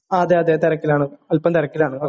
അതേ അതേ തിരക്കിലാണ് അല്പ്പം തിരക്കിലാണ്